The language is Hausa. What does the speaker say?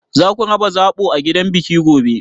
Zaku raba zaɓo a gidan biki gobe?